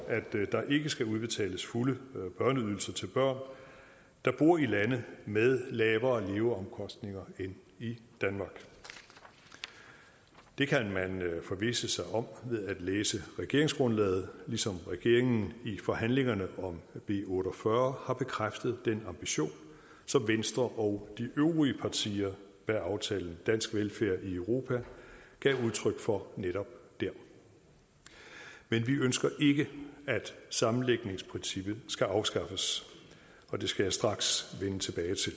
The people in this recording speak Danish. der ikke skal udbetales fulde børneydelser til børn der bor i lande med lavere leveomkostninger end i danmark det kan man forvisse sig om ved at læse regeringsgrundlaget ligesom regeringen i forhandlingerne om b otte og fyrre har bekræftet den ambition som venstre og de øvrige partier bag aftalen dansk velfærd i europa gav udtryk for netop dér men vi ønsker ikke at sammenlægningsprincippet skal afskaffes og det skal jeg straks vende tilbage til